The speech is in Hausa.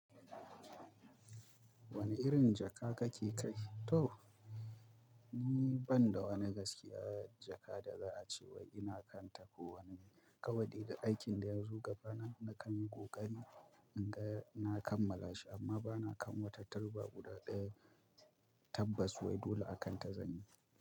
Wani irin jaka kake kai? To, ni ban da wani gaskiya jaka da za a cewa ina kanta ko wani kawai da aikin duk ya zo gabana na kan yi ƙoƙari in ga na kammala shi amma ba na kan wata turba guda ɗaya tabbas wai dole a kan ta zanyi.